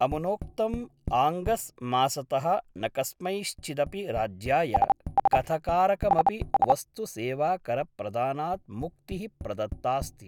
अमुनोक्तं ऑगस् मासतः न कस्मैश्चिदपि राज्याय कथकारकमपि वस्तुसेवाकरप्रदानात् मुक्ति: प्रदत्तास्ति।